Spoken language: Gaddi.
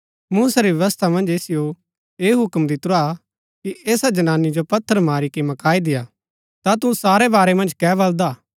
मूसै री व्यवस्था मन्ज असिओ ऐह हुक्म दितुरा कि ऐसी जनानी जो पत्थर मारी के मकाई देय्आ ता तू सारै वारै मन्ज कै बलदा